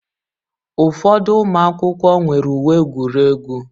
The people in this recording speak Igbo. Ụfọdụ ụmụ akwụkwọ nwere uwe egwuregwu.